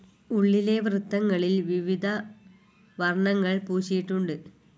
ഉള്ളിലെ വൃത്തങ്ങളിൽ വിവധ വർണ്ണങ്ങൾ പൂശിയിട്ടുണ്ട്.